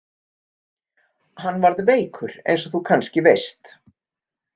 Hann varð veikur eins og þú kannski veist.